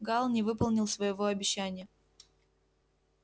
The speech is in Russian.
гаал не выполнил своего обещания